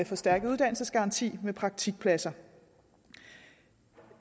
forstærket uddannelsesgaranti med praktikpladser